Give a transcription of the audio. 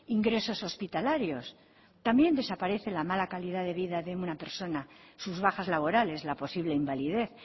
ingresos hospitalarios también desaparece la mala calidad de vida de una persona sus bajas laborales la posible invalidez